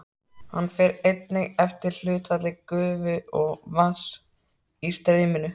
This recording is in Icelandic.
Hann fer einnig eftir hlutfalli gufu og vatns í streyminu.